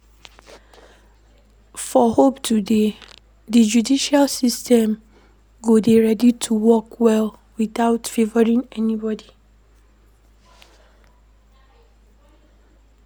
For hope to dey, di judicial system go dey ready to work well without favouring anybody